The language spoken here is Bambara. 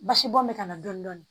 Basibɔn bɛ ka na dɔɔnin dɔɔnin